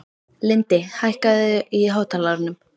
Lindi, hækkaðu í hátalaranum.